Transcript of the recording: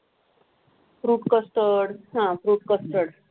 fruit custard uh fruit custard